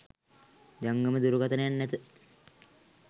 ජංගම දුරකථනයක් නැත.